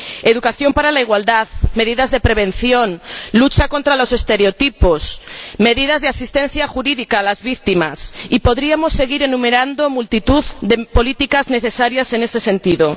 Educación para la igualdad, medidas de prevención, lucha contra los estereotipos, medidas de asistencia jurídica a las víctimas, y podríamos seguir enumerando multitud de políticas necesarias en este sentido.